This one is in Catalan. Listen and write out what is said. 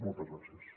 moltes gràcies